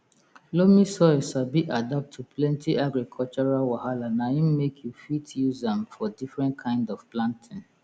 loamy soil sabi adapt to plenti agricultural wahala na im make you fit use am for differnt kind of planting